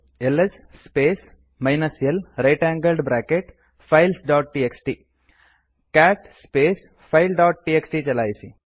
LS space minus l right angled bracket files dot TXT cat space files dot TXT ಚಲಾಯಿಸಿ